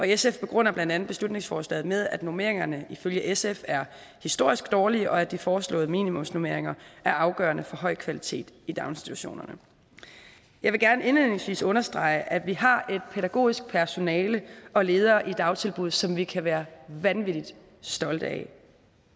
sf begrunder blandt andet beslutningsforslaget med at normeringerne ifølge sf er historisk dårlige og at de foreslåede minimumsnormeringer er afgørende for høj kvalitet i daginstitutionerne jeg vil gerne indledningsvis understrege at vi har et pædagogisk personale og ledere i dagtilbud som vi kan være vanvittigt stolte af